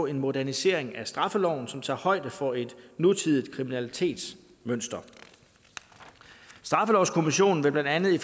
en modernisering af straffeloven som tager højde for et nutidigt kriminalitetsmønster straffelovskommissionen vil blandt andet i